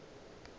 be o ka re ke